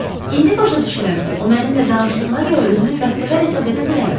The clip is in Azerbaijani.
İndi başa düşürəm ki, o mənimlə danışdığına görə özümü bəxtəvər hesab edə bilərəm.